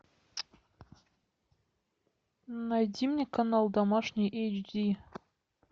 найди мне канал домашний эйч ди